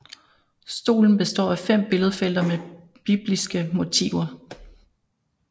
Stolen består af fem billedfelter med bibliske motiver